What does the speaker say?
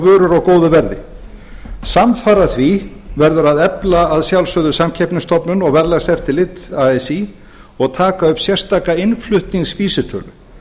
vörur á góðu verði samfara því verður að sjálfsögðu að efla samkeppnisstofnun og verðlagseftirlit así og taka upp sérstaka innflutningsvísitölu